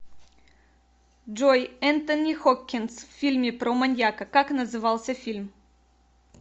джой энтони хокгинс в фильме про маньяка как назывался фильм